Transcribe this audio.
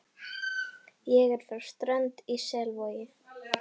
Ég er frá Strönd í Selvogi.